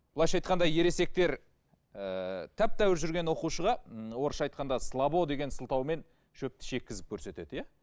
былайша айтқанда ересектер ііі тәп тәуір жүрген оқушыға орысша айтқанда слабо деген сылтаумен шөпті шеккізіп көретеді иә